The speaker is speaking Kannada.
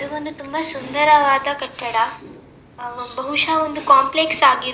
ಇದು ಒಂದು ತುಂಬಾ ಸುಂದರವಾದ ಕಟ್ಟಡ ಬಹುಶ ಒಂದು ಕಾಂಪ್ಲೆಕ್ಸ್ ಆಗಿರ್ಬಹುದು-